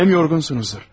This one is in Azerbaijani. Həm yorğunsuzdur.